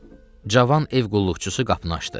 Cavan ev qulluqçusu qapını açdı.